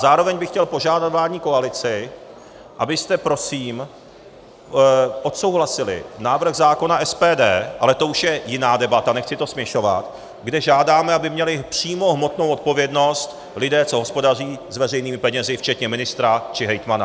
Zároveň bych chtěl požádat vládní koalici, abyste prosím odsouhlasili návrh zákona SPD - ale to už je jiná debata, nechci to směšovat - kde žádáme, aby měli přímo hmotnou odpovědnost lidé, co hospodaří s veřejnými penězi včetně ministra či hejtmana.